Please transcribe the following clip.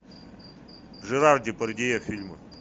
жерар депардье фильмы